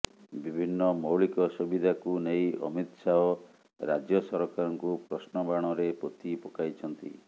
ବିଭିନ୍ନ ମୌଳିକ ସୁବିଧାକୁ ନେଇ ଅମିତ ଶାହ ରାଜ୍ୟ ସରକାରଙ୍କୁ ପ୍ରଶ୍ନବାଣରେ ପୋତି ପକାଇଛନ୍ତି